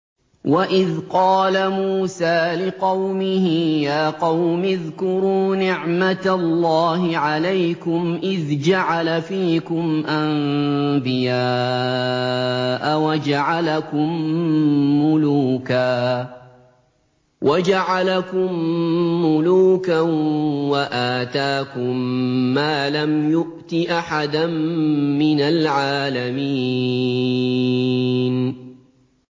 وَإِذْ قَالَ مُوسَىٰ لِقَوْمِهِ يَا قَوْمِ اذْكُرُوا نِعْمَةَ اللَّهِ عَلَيْكُمْ إِذْ جَعَلَ فِيكُمْ أَنبِيَاءَ وَجَعَلَكُم مُّلُوكًا وَآتَاكُم مَّا لَمْ يُؤْتِ أَحَدًا مِّنَ الْعَالَمِينَ